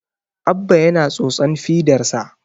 Abba yana tsotsan fidarsa